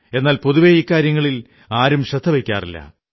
എന്നാൽ പൊതുവേ ഇക്കാര്യങ്ങളിൽ ആരും ശ്രദ്ധ വയ്ക്കാറില്ല